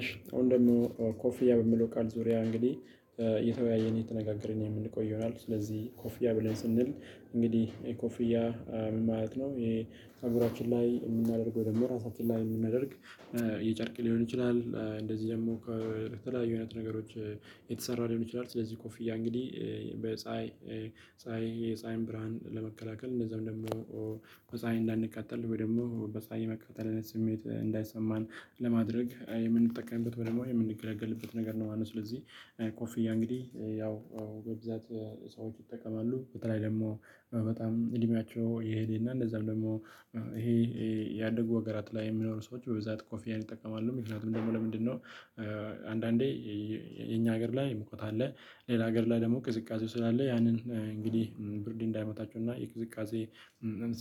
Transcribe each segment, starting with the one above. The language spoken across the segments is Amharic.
እሺ አሁን ደግሞ ኮፍያ በሚለው ቃል ዙሪያ እንግዲህ እየተወያየን እየተነጋገርን የምንቆይ ይሆናል። ስለዚህ ኮፍያ ብለን ስንል እንግዲህ ኮፍያ ምን ማለት ነው? ይሄ ፀጉራችን ላይ የምናደርገው ደግሞ ራሳችን ላይ የምናደርግ የጨርቅ ሊሆን ይችላል እንደዚህ ደግሞ ከተለያዩ አይነት ነገሮች የተሰራ ሊሆን ይችላል ስለዚህ ኮፍያ እንግዲህ በፀሀይ ፀሀይ የፀሀይን ብርሃን ለመከላከል እንደዛም ደግሞ በፀሀይ እንዳንቃጠል ወይ ደግሞ በፀሀይ የመቃጠል ስሜት እንዳይሰማን ለማድረግ የምንጠቀምበት ወይም የምንገለገልበት ነገር ነው ማለት ነው። ስለዚህ ኮፍያ እንግዲህ ያው በብዛት ሰዎች ይጠቀማሉ በተለይ ደግሞ በጣም እድሜያቸው የሄደና እንደዛ ደግሞ ይሄ ያደጉ ሀገራት ላይ የሚኖሩ ሰዎች በብዛት ኮፍያን ይጠቀማሉ። ምክንያቱም ደግሞ ለምንድነው? አንዳንዴ የኛ ሀገር ላይ ሙቀት አለ ሌላ ሀገር ላይ ደግሞ ቅዝቃዜው ስላለ ያንን እንግዲህ ብርድ እንዳይመታቻውና የቅዝቃዜ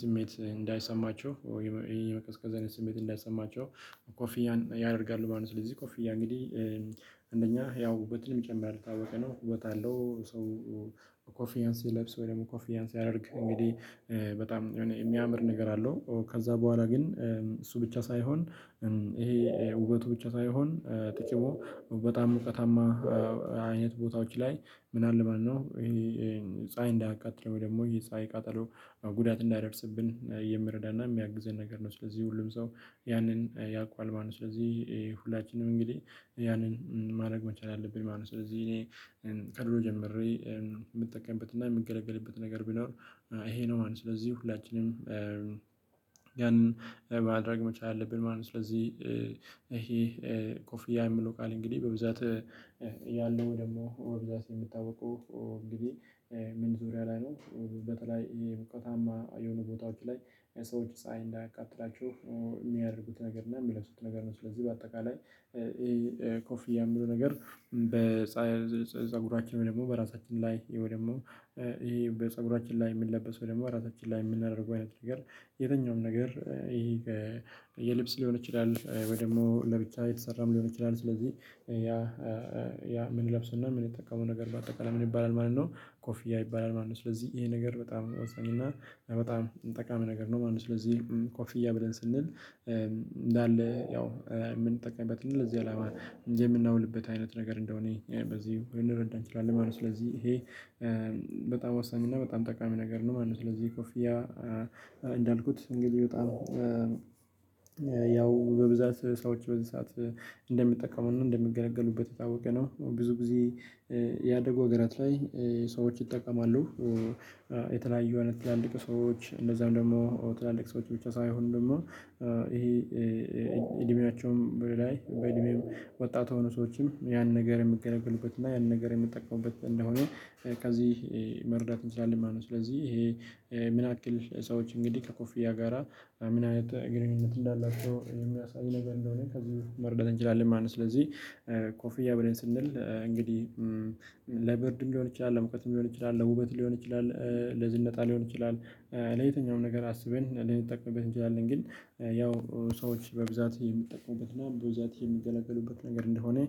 ስሜት እንዳይሰማቸው ይሄን ቀዝቀዝ አይነት ስሜት እንዳይሰማቸው ኮፍያን ያደርጋሉ ማለት ነው። ስለዚህ ኮፍያ እንግዲህ አንደኛ ያው ውበትንም ይጨምራል ካወቅንው ነው ውበትም አለው። ሰው ኮፍያን ሲለብስ ወይም ኮፍያን ሲያደርግ ያ እንግዲህ በጣም የሚያምር ነገር አለው። ከዛ በኋላ ግን እሱ ብቻ ሳይሆን ይሄ ውበቱ ብቻ ሳይሆን ጥቅሙ በጣም ሙቀታማ አይነት ቦታዎች ላይ ምናልባት ማነው ይሄ ፀሀይ እንዳያቃጥለው ደግሞ ይሄ ፀሀይ ቃጠሎ ጉዳት እንዳደርስብን የምረዳና የሚያግዘን ነገር ነው። ስለዚህ ሁሉም ሰው ያንን ያውቃል ማለት ነው። ስለዚህ ሁላችንም እንግዲህ ያንን ማድረግ መቻል አለብን ማለት ነው። ስለዚህ እኔ ከድሮ ጀምሬ የምጠቀምበትና እና የምገለገልበት ነገር ቢኖር ይሄ ነው ማለት ነው። ስለዚህ ሁላችንም ያንን ማድረግ መቻል አለብን ማለት ነው። ስለዚህ ይሄ ኮፍያ የምለው ቃል እንግዲህ በብዛት ያለው ደግሞ ብዛት የምታውቀው እንግዲህ ምን ዙሪያ ላይ ነው? በተለይ ሞቃታማ የሆኑ ቦታዎች ላይ ሰዎች ፀሀይ እንዳያቃጥላችው የሚያደርጉት ነገር እና የሚለብሱት ነገር ነው። ስለዚህ በአጠቃላይ ኮፍያ የሚለው ነገር በፀጉራችን ወይም በራሳችን ላይ ወይ ደግሞ ይሄ በፀጉራችን ላይ የምንለበሰው ደግሞ ራሳችን ላይ የምናደርገው አይነት ነገር የትኛውም ነገር ይሄ የልብስ ሊሆን ይችላል። ወይ ደግሞ ለብቻ የተሰራም ሊሆን ይችላል ስለዚህ ያ ያ ምን ለብሰውና ምንጠቀመው ነገር በአጠቃላይ ምን ይባላል ማለት ነው ኮፍያ ይባላል ማለት ነው። ስለዚህ ይሄ ነገር በጣም እና በጣም ጠቃሚ ነገር ነው። ማንም ስለዚህ ኮፍያ ብለን ስንል ያው የምንጠቀመው እንደዚህ አላማ የምናውልበት አይነት ነገር እንደሆነ በዚህ እንረዳን እንችላለን ማለት ነው። ስለዚህ ይሄ በጣም ወሳኝ እና በጣም ጠቃሚ ነገር ነው ማለት ነው። ስለዚህ ኮፊያ እንግዲህ በጣም ያው በብዛት ሰዎች በዚህ ሰዓት እንደሚጠቀሙና እንደሚገለገሉበት የታወቀ ነው። ብዙ ጊዜ ያደጉ ሀገራት ላይ ሰዎች ይጠቀማሉ። የተለያዩ አይነት ትላልቅ ሰዎች እንደዛውም ደግሞ ትላልቅ ሰዎች ብቻ ሳይሆን ደግሞ ይሄ ኢድሜቸውም በላይ በእድሜው ወጣት የሆኑ ሰዎችም ያን ነገር የሚገለገሉበት እና ያን ነገር የሚጠቀሙበት እንደሆነ ከዚህ መረዳት እንችላለን ማለት ነው። ስለዚህ ይሄ ምን ያክል ሰዎች እንግዲህ ከኮፊያ ጋራ ምን አይነት ግንኙነት እንዳላቸው የሚያሳይ ነገር እንደሆነ ከዚህ መረዳት እንችላለን ማለት ነው። ስለዚህ ኮፍያ ብለን ስንል እንግዲህ ለብርድ እንዲሆን ይችላል ለሙቀትም ሊሆን ይችላል ለውበት ሊሆን ይችላል ለዝንጣ ሊሆን ይችላል። ለየትኛውም ነገር አስበን ልንጠቅምበት እንችላለን ግን ያው ሰዎች በብዛት የሚጠቀሙበት እና በብዛት የሚገለገሉበት ነገር እንደሆነ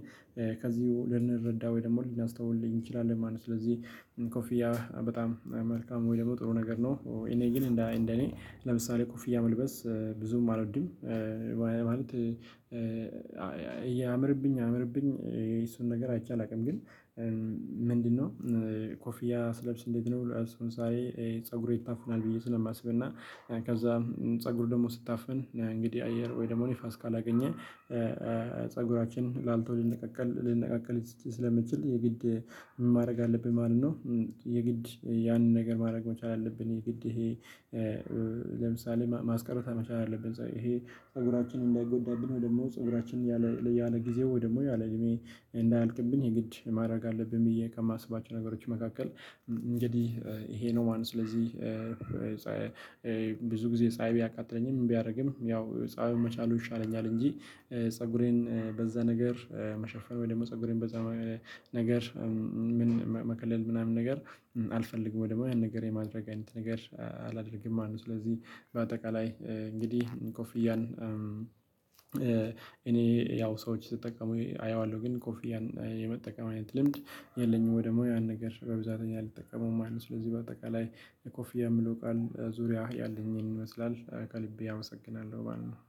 ከዚሁ ልንረዳ ወይ ደግሞ ልናስተውል እንችላለን ማለት ነው። ስለዚህ ኮፊያ በጣም መልካም ወይ ደግሞ ጥሩ ነገር ነው። እኔ ግን እንደ እኔ ኩፍያ መልበስ ብዙም አልወድም። ማለት ያምርብኝ አያምርብኝ የሱን ነገር አይቼ አላቅም ግን ምንድነው? ኮፍያ ስለብስ እንዴት ነው? ሰውን ሳይ ፀጉሩ ይታፈናል ብዬ ስለማስብና ከዛ ፀጉሩ ደግሞ ስታፍን እንግዲህ አየር ወይ ደግሞ ንፋስ ካላገኘ ፀጉራችን ላልተው ሊነቃቀል ስለሚችል የግድ ማድረግ አለብን ማለት ነው። የግድ ያንን ነገር ማድረግ መቻል አለብን የግድ ይሄ ለምሳሌ ማስቀረት መቻል አለብን። ይሄ ፀጉራችንን እንዳይጎዳብን ወይ ደሞ ፀጉራችን ያለ ጊዜ ወይ ደሞ ያለ እድሜ እንዳያልቅብን የግድ ማድረግ አለብኝ ብዬ ከማስባቸው ነገሮች መካከል እንግዲህ ይሄ ነው። ማን ስለዚህ ብዙ ጊዜ ፀሀይ ቢያቃጥለኝም ቢያደርግም ያው ፀሀይን መቻሉ ይሻለኛል። እንጂ ፀጉሬን በዛ ነገር መሸፈን ወይ ደግሞ ፀጉሬን በዛ ነገር ምን መከለል ምናምን ነገር አልፈልግም ወይ ደግሞ ያን ነገር የማድረግ አይነት ነገር አላደርግም ማለት ነው። ስለዚህ በአጠቃላይ እንግዲህ ኮፍያን እኔ ያው ሰዎች ስጠቀሙ አየዋለሁ ግን ኮፊያን የመጠቀም አይነት ልምድ የለኝም ወይ ደግሞ ያን ነገር በብዛት እኔ አልጠቀመውም ማለት ነው። ስለዚህ በአጠቃላይ ኮፊያ የምለው ቃል ዙሪያ ያለኝን ይኸን ይመስላል። ከልቤ አመሰግናለሁ ማለት ነው